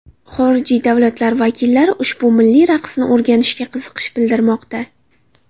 Xorijiy davlatlar vakillari ushbu milliy raqsni o‘rganishga qiziqish bildirmoqda.